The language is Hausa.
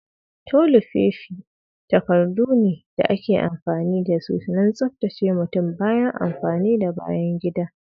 Tolifofi takardu ne da ake amfani da su don tsabtace mutum bayan amfani da bayan gida.